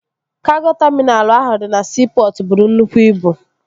Kago taminalụ ahụ dị na siipọtụ bụrụ nnukwu ibu